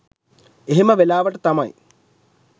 එහෙම වෙලාවට තමයි